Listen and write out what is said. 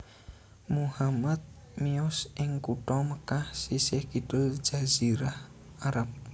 Muhammad miyos ing kutha Mekkah sisih kidul Jazirah Arab